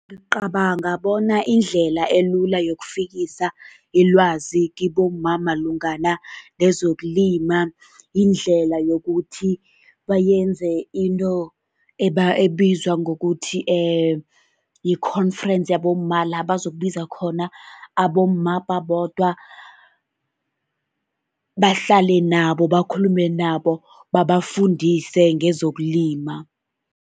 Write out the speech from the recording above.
Ngicabanga bona indlela elula yokufikisa ilwazi kibomma malungana nezokulima, yindlela yokuthi bayenze into ebizwa ngokuthi yi-conference yabomma, la bazokubiza khona abomma babodwa, bahlale nabo, bakhulume nabo, babafundise ngezokulima.